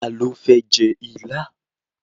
Ta ló fẹ́ jẹ ilá?